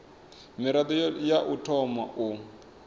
mirado ya u thoma u